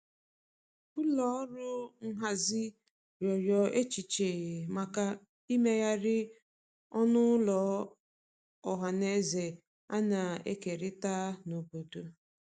ụlọ ọrụ nhazi riọrọ echiche maka imeghari ọnụ ụlọ ohanaeze ana ekerita n'obodo